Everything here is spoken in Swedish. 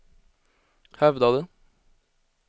hävdade